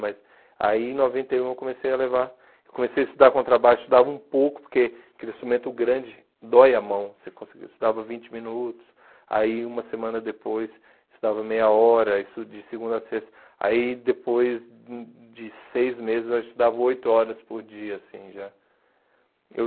Mas aí em noventa e um eu comecei a levar, comecei a estudar contrabaixo, estudava um pouco, porque aquele instrumento grande dói a mão, você conseguia, estudava vinte minutos, aí uma semana depois estudava meia hora, isso de segunda a sexta, aí depois hum de seis meses eu estudava oito horas por dia, assim, já. Eu